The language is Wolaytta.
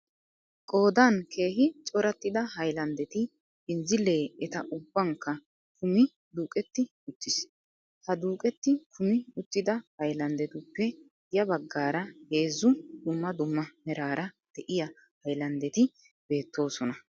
Qoodan keehi corattida haylanddeti benzzilee eta ubbankka kumi duuqetti uttiis. Ha duuqetti kumi uttida haylanddetuppe ya baggaara heezzu dumma dumma meraara de'iya hayllandeti beettoosona.